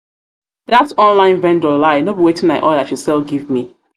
online vendor lie no be wetin i order she sell give me.